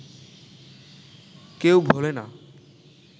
কেউ ভোলে না